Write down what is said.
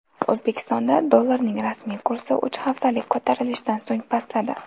O‘zbekistonda dollarning rasmiy kursi uch haftalik ko‘tarilishdan so‘ng pastladi.